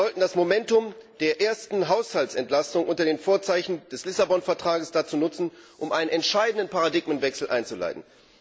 Wir sollten das Momentum der ersten Haushaltsentlastung unter den Vorzeichen des Lissabon Vertrags dazu nutzen, um einen entscheidenden Paradigmenwechsel einzuleiten.